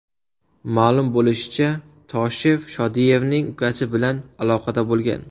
Ma’lum bo‘lishicha, Toshev Shodiyevning ukasi bilan aloqada bo‘lgan.